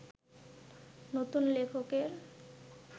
নতুন লেখকের